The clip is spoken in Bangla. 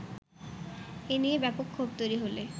এ নিয়ে ব্যাপক ক্ষোভ তৈরি হলে